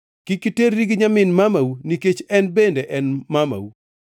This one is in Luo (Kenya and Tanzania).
“ ‘Kik iterri gi nyamin mamau nikech en bende en mamau.